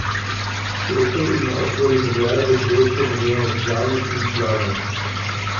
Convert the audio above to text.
Cerkev ima okoli milijardo dvesto milijonov članic in članov.